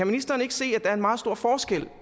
ministeren ikke se at der er meget stor forskel